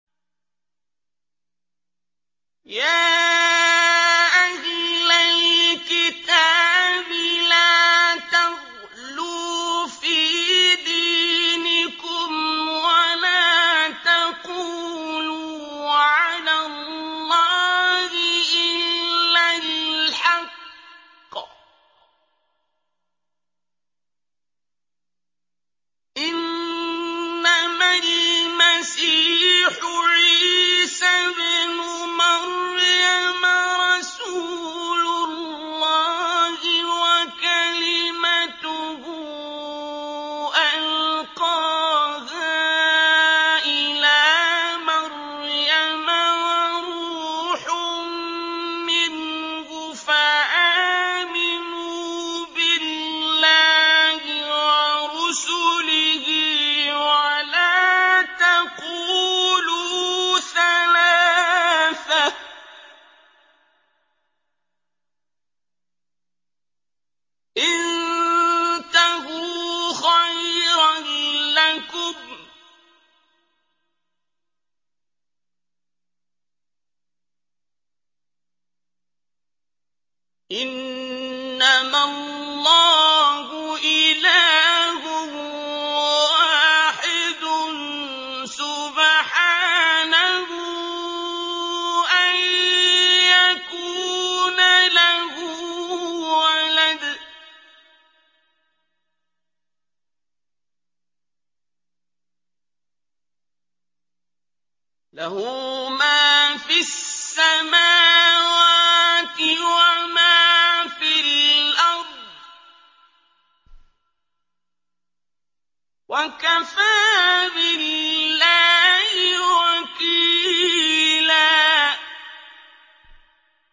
يَا أَهْلَ الْكِتَابِ لَا تَغْلُوا فِي دِينِكُمْ وَلَا تَقُولُوا عَلَى اللَّهِ إِلَّا الْحَقَّ ۚ إِنَّمَا الْمَسِيحُ عِيسَى ابْنُ مَرْيَمَ رَسُولُ اللَّهِ وَكَلِمَتُهُ أَلْقَاهَا إِلَىٰ مَرْيَمَ وَرُوحٌ مِّنْهُ ۖ فَآمِنُوا بِاللَّهِ وَرُسُلِهِ ۖ وَلَا تَقُولُوا ثَلَاثَةٌ ۚ انتَهُوا خَيْرًا لَّكُمْ ۚ إِنَّمَا اللَّهُ إِلَٰهٌ وَاحِدٌ ۖ سُبْحَانَهُ أَن يَكُونَ لَهُ وَلَدٌ ۘ لَّهُ مَا فِي السَّمَاوَاتِ وَمَا فِي الْأَرْضِ ۗ وَكَفَىٰ بِاللَّهِ وَكِيلًا